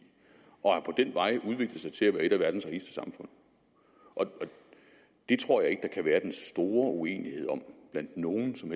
og har den vej udviklet sig til at være et af verdens rigeste samfund det tror jeg ikke der kan være den store uenighed om blandt nogen som